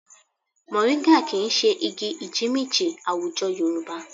Mọ̀ríńgà kì í ṣe igi ìjímìjí àwùjọ Yorùbá